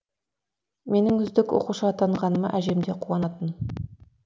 менің үздік оқушы атанғаныма әжем де қуанатын